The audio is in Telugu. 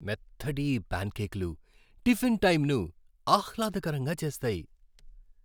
మెత్తటి ఈ ప్యాన్కేక్లు టిఫిన్ టైంను ఆహ్లాదకరంగా చేస్తాయి.